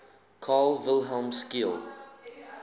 carl wilhelm scheele